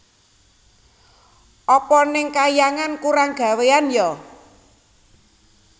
Apa neng kahyangan kurang gawéan ya